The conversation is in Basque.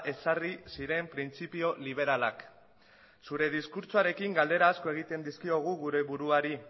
ezarri ziren printzipio liberalak zure diskurtsoarekin galdera asko egiten dizkiogu gure buruari